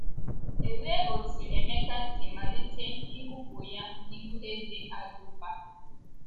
Olee otú Emeka si malite ngọpụ ya n’ihu eze Agrịpa?